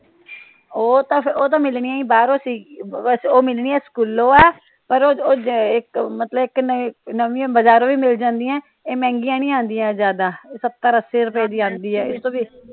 ਉਹ ਤਾ, ਉਹ ਤਾ ਮਿਲਣੀਆਂ ਈ ਬਾਹਰੋਂ ਸੀ ਵੈਸੇ ਉਹ ਮਿਲਣੀਆਂ ਸਕੂਲਾਂ ਵਾ ਪਰ ਮਤਲਬ ਇਕ ਨਾ ਨਵੀਆਂ ਬਜ਼ਾਰੋਂ ਵੀ ਮਿਲ ਜਾਂਦੀਆਂ ਏ। ਇਹ ਮਹਿੰਗੀਆਂ ਨਹੀਂ ਆਂਦੀਆ ਜਿਆਦਾ ਇਹ ਸਤਰ ਅੱਸੀ ਰੁਪਏ ਦੀ ਆਂਦੀ ਏ